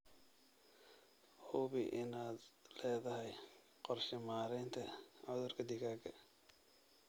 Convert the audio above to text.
Hubi inaad leedahay qorshe maaraynta cudurka digaaga.